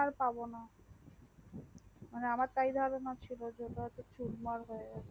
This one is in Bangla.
phone আর পাবনা মানে আমার তাই ই মত ছিল যে ওটা চুরমার হয়ে গেছে